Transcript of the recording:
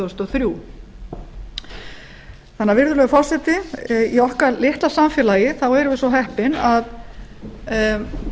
þúsund og þrjú virðulegur forseti í okkar litla samfélagi erum við svo heppin að við erum